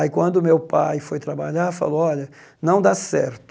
Aí quando meu pai foi trabalhar, falou, olha, não dá certo.